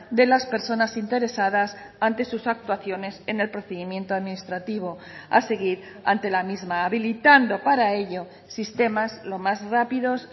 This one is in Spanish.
de las personas interesadas ante sus actuaciones en el procedimiento administrativo a seguir ante la misma habilitando para ello sistemas lo más rápidos